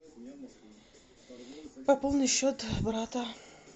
пополни счет брата